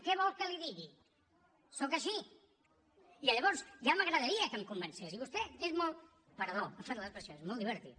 què vol que li digui sóc així i llavors ja m’agradaria que em convencés i vostè és molt perdó per l’expressió divertit